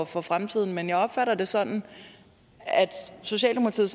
for fremtiden men jeg opfatter det sådan at socialdemokratiet